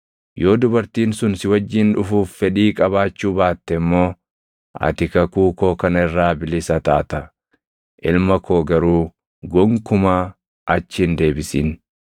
Yoo dubartiin sun si wajjin dhufuuf fedhii qabaachuu baatte immoo ati kakuu koo kana irraa bilisa taata. Ilma koo garuu gonkumaa achi hin deebisin.”